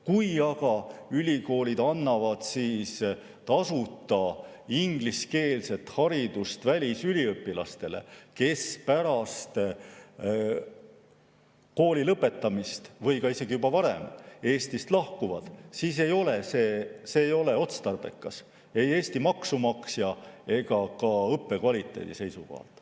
Kui aga ülikoolid annavad tasuta ingliskeelset haridust välisüliõpilastele, kes pärast kooli lõpetamist või isegi juba varem Eestist lahkuvad, siis ei ole see otstarbekas ei Eesti maksumaksja ega ka õppekvaliteedi seisukohalt.